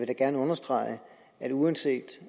da gerne understrege at uanset